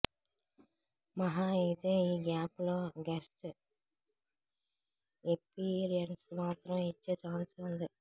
మహా అయితే ఈ గ్యాప్ లో గెస్ట్ ఎప్పీయరెన్స్ మాత్రం ఇచ్చే ఛాన్స్ ఉంది